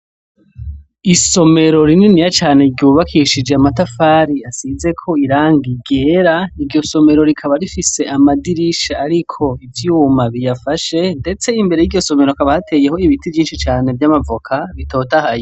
Isomero rinininya cane ryubakishije amatafari asizeko irangi ryera, iryo somero rikaba rifise amadirisha ariko ivyuma biyafashe, ndetse imbere yiryo somero hakaba hateye ibiti vyinshi cane vy' amavoka bitotahaye.